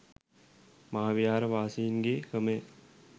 මහා විහාර වාසීන්ගේ ක්‍රමය